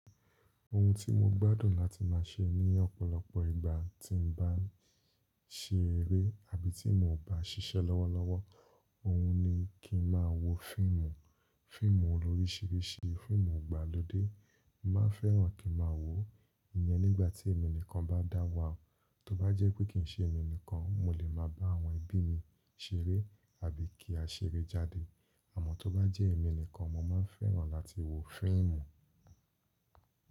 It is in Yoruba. Ohun tí mo gbádùn láti máa ṣe ní ọ̀pọ̀lọpọ̀ ìgbà tí n bá n ṣe eré àbí tí mo ò bá ṣiṣẹ́ lọ́wọ́lọ́wọ́, òhun ni kí n máa wo fíìmù. Fíìmù lórísirísi, fíìmù ìgbàlódé, mo màá fẹ́ràn kí n màá wòó. Iyẹn nígbà tí èmi nìkan bá dáwà, tó bá jẹ́ pé kì í ṣe èmi nìkan, mo lè máa bá àwọn ẹbí mi ṣeré àbí kí á ṣeré jáde. Àmọ́ tó bá jẹ́ èmi nìkan, mo máa ń fẹ́ràn láti wo fíìmù.